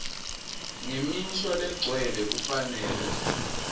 ngemisho legcwele kufanele